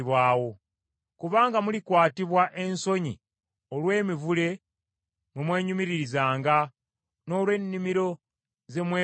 “Kubanga mulikwatibwa ensonyi olw’emiti mwe mwenyumiririzanga, n’olw’ennimiro ze mweroboza.